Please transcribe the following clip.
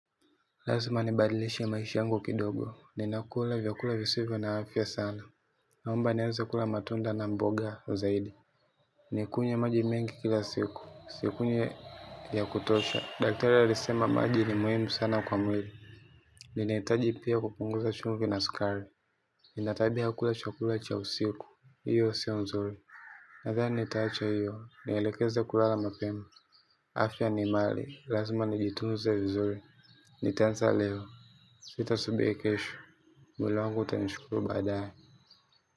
Lazima nibadilishe maisha yangu kidogo. Ninakula vyakula visivyo na afya sana. Naomba nianze kula matunda na mboga zaidi. Nikunywe maji mengi kila siku. Sikunywi ya kutosha. Daktari alisema maji ni muhimu sana kwa mwili. Ninahitaji pia kupunguza chumvi na sukari. Nina tabia ya kula chakula cha usiku. Hiyo sio nzuri. Nathani nitacha iyo. Nielekeze kulala mapema. Afya ni mali. Lazima nijitunze vizuri. Nitaanza leo. Sitasubiri kesho. Mwili wangu utanishukuru baadae.